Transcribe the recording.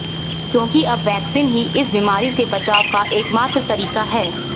क्योंकि अब वैक्सीन ही इस बीमारी से बचाव का एकमात्र तरीका है